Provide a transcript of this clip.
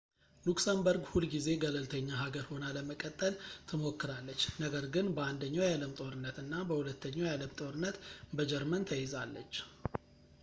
ሉክሰምበርግ ሁል ጊዜ ገለልተኛ ሀገር ሆና ለመቀጠል ትሞክራለች ነገር ግን በአንደኛው የዓለም ጦርነት እና በሁለተኛው የዓለም ጦርነት በጀርመን ተይዛለች